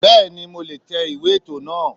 Bẹ́ẹ̀ni mo le è tẹ ìwé ètò náà